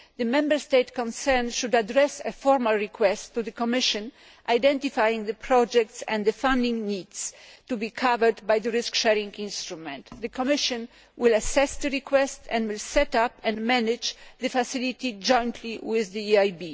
The Member State concerned should address a formal request to the Commission identifying the projects and the funding needs to be covered by the risk sharing instrument. The Commission will assess the request and will set up and manage the facility jointly with the EIB.